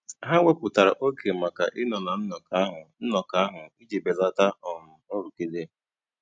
Ha wèpụ̀tàra ógè maka ị̀ Nọ́ na nnọ́kọ́ ahụ́ nnọ́kọ́ ahụ́ ijì bèlátà um nrụ́gìdè.